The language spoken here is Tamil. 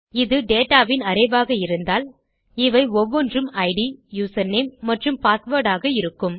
இது dataன் அரே ஆக இருந்தால் இவை ஒவ்வொன்றும் இட் யூசர்நேம் மற்றும் பாஸ்வேர்ட் ஆக இருக்கும்